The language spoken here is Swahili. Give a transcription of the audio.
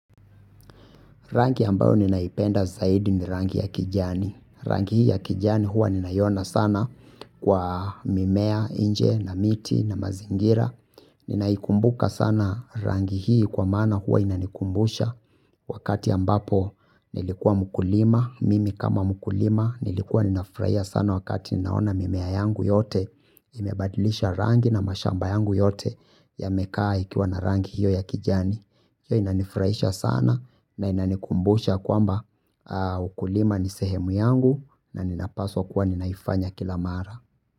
Rangi ambayo ninaipenda zaidi ni rangi ya kijani. Rangi hii ya kijani huwa ninaiona sana kwa mimea, inje, na miti, na mazingira. Ninaikumbuka sana rangi hii kwa maana huwa inanikumbusha. Wakati ambapo nilikuwa mkulima, mimi kama mkulima nilikuwa ninafurahia sana wakati ninaona mimea yangu yote. Imebadilisha rangi na mashamba yangu yote ya mekaa ikiwa na rangi hiyo ya kijani. Hiyo inanifurahisha sana na inanikumbusha kwamba ukulima ni sehemu yangu na ninapaswa kuwa ninaifanya kila mara.